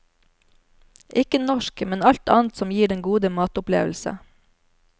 Ikke norsk, men alt annet som gir den gode matopplevelse.